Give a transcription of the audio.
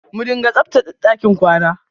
Mu dinga tsabtache ɗakin kwana.